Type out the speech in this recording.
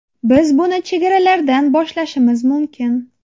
Biz buni chegaralardan boshlashimiz mumkin.